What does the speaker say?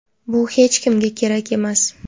bu hech kimga kerak emas.